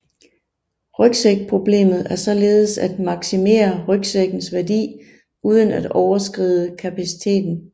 Rygsækproblemet er således at maksimere ryksækkens værdi uden at overskride kapaciteten